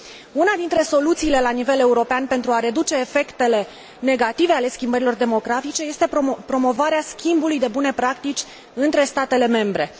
Una dintre soluțiile la nivel european pentru a reduce efectele negative ale schimbărilor demografice este promovarea schimbului de bune practici între statele membre.